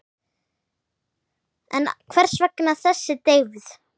En hvers vegna þessi deyfð?